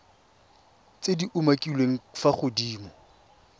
tse di umakiliweng fa godimo